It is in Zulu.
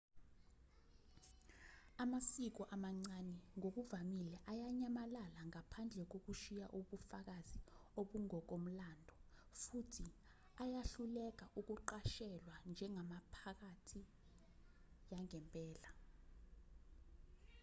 amasiko amancane ngokuvamile ayanyamalala ngaphandle kokushiya ubufakazi obungokomlando futhi ayahluleka ukuqashelwa njengemiphakathi yangempela